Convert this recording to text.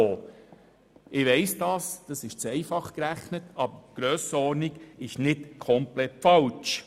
Ich weiss, dies ist eine zu einfache Rechnung, aber die Grössenordnung ist nicht komplett falsch.